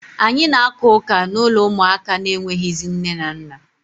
Anyị na-aka ụka n'ụlọ ụmụaka na-enweghịzị nne na nna.